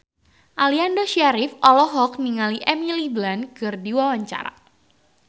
Aliando Syarif olohok ningali Emily Blunt keur diwawancara